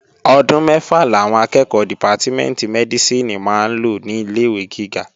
Ọdún mẹ́fà làwọn akẹ́ẹ̀kọ́ dìpátímẹ̀ntì Mẹ́dísìnì máa lò ní ilé-ìwé gíga